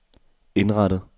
indrettet